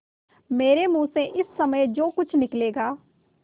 मेरे मुँह से इस समय जो कुछ निकलेगा